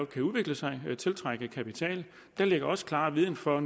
kan udvikle sig og tiltrække kapital der ligger også klar viden for